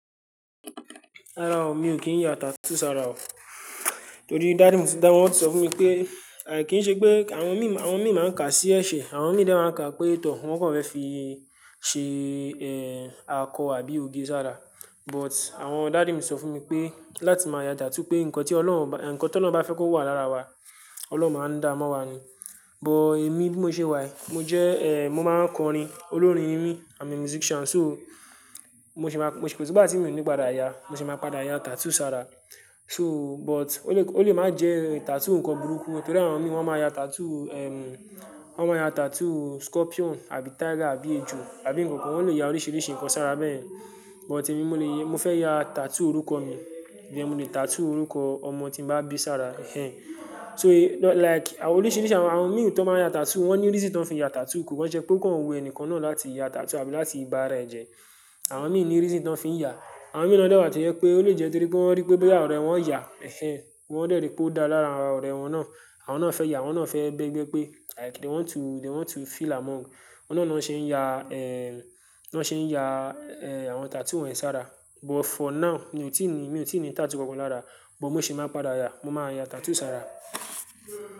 Rárá o, mi ò kí ń ya tattoo sára o. Torí daddy mi ti dá, wọ́n ti sọ fún mi pé, àì kí n ṣe pé àwọn mii, àwọn mii máa ń kà á sí ẹ̀ṣẹ̀. Àwọn mii de máa ń kà á pé tọ̀, wọ́n kan fẹ́ fi ṣe, eh, akọ àbí oge sára. But àwọn daddy mi sọ fún mi pé, láti máa yá tattoo pé nǹkan tí Ọlọ́hun ba, nǹkan tọlọ́hun bá fẹ́ kó wà lára wa, Ọlọ́hun máa ń dá a mọ́ wa ni. But èmi bí mo ṣe wà yìí, mo jẹ́, eh, mo máa ń kọrin. Olórin ni mí. I'm a musician. So, mo ṣi má, mo ṣi kò sígbà tí mi ò ní padà ya a, mo ṣi má padà ya tattoo sára. So, but ó lè, ó lè máa jẹ́ tattoo ǹkan burúkú. Nítorí àwọn mii wọ́n má ya tattoo, ehm, wọ́n má ya tattoo scorpion àbí tiger àbí ejò àbí nǹkankan. Wọ́n lè ya oríṣiríṣi ǹkan sára bẹ́yẹ̀. But èmi mo lè, mo fẹ́ ya tattoo orúkọ mi. Ìyen mo lè tattoo orúkọ ọmọ tí mo bá bí sára. Eh. So like àwọn oríṣiríṣi àwọn, àwọn mii tón máa ń ya tattoo, wọ́n ní reason ton fi ń ya tattoo. Kòkan ṣe pé ó kàn wù ẹnìkan náà láti ya tattoo àbí láti bá ara ẹ̀ jẹ́. Àwọn mii ní reason ton fi ń ya. Àwọn mii na dẹ̀ wà tó jẹ́ pé ó lè jẹ́ torí pé wọ́n rípé bóyá ọ̀rẹ́ wọn ya, ehn ehn, wọ́n dẹ́ rìí pé ó dára lára ọ̀rẹ́ wọn náà. Àwọn náà fẹ́ ya, awọ́n náà fẹ́ bégbé pé like they want to, they want to feel among. Òun náà ni wọ́n ṣe ń ya, eh, ni wọ́n ṣe ń ya, eh, àwọn tattoo wọnyìí sára. But for now, mi ò tí ì ní, mi ò tí ì ní tattoo kankan lára. But mo ṣe máa padà ya. Mo máa ya tattoo sára.